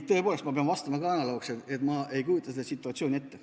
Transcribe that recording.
Tõepoolest, ma pean ka vastama analoogselt, et ma ei kujuta seda situatsiooni ette.